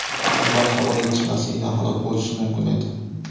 Ular havo yetishmasligidan halok bo‘lishi mumkin edi .